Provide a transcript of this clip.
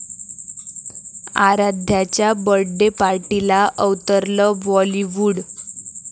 आराध्याच्या birthday पार्टीला अवतरलं बॉलिवूड